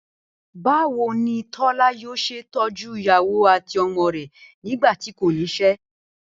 Báwo ni Tó̩la yóò s̩e tó̩jú ìyàwó àti o̩mo̩ rè̩ nígbà tí kò nís̩é̩?